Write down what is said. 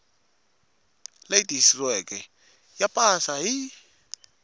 leyi tiyisisiweke ya pasi ya